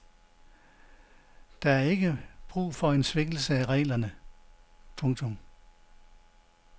Der er ikke brug for en svækkelse af reglerne. punktum